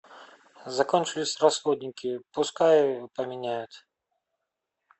закончились расходники пускай поменяют